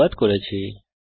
এতে অংশগ্রহনের জন্য ধন্যবাদ